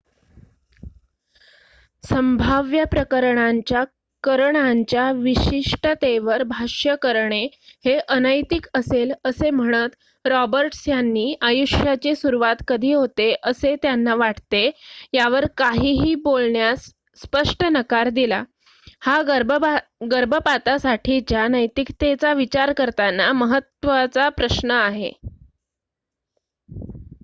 संभाव्य प्रकरणांच्या करणांच्या विशिष्टतेवर भाष्य करणे हे अनैतिक असेल असे म्हणत रॉबर्ट्स यांनी आयुष्याची सुरुवात कधी होते असेत्यांना वाटते यावर काहीही बोलण्यास स्पष्ट नकार दिला हा गर्भपातासाठीच्या नैतिकतेचा विचार करताना महत्त्वाचा प्रश्न आहे